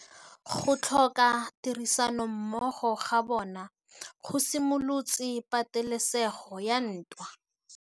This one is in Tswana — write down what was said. Go tlhoka tirsanommogo ga bone go simolotse patêlêsêgô ya ntwa.